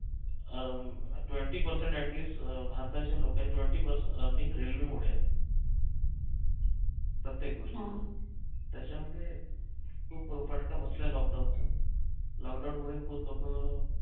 uh twenty percent at least um भारताचे लोक आहेत twenty percent earning railway मुळे आहे प्रत्येक गोष्टीत त्याच्यामुळे खूप फटका बसलाय लॉकडाऊन चा लॉकडाऊन मुळे खूप लोक